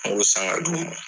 An b'o san ka d di u ma.